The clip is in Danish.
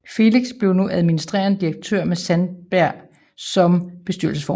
Felix blev nu administrerende direktør med Sandberg som bestyrelsesformand